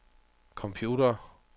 computere